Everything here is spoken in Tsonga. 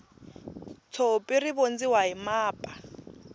tshopi ri vondziwa hi mapa